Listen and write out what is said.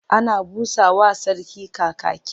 Ana busa wa Sarki Kakaki.